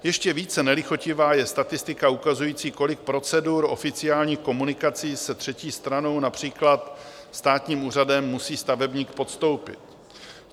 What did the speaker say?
Ještě více nelichotivá je statistika ukazující, kolik procedur oficiálních komunikací se třetí stranou, například státním úřadem, musí stavebník podstoupit.